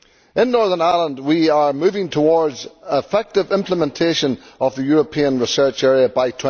In Northern Ireland, we are moving towards effective implementation of the European Research Area by